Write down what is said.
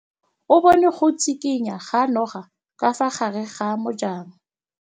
O bone go tshikinya ga noga ka fa gare ga majang.